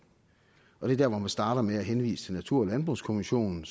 er der hvor man starter med at henvise til natur og landbrugskommissionen